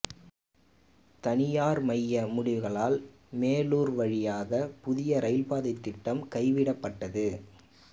தனியார் மய முடிவுகளால் மேலூர் வழியாக புதிய ரயில் பாதை திட்டம் கைவிடப்பட்டது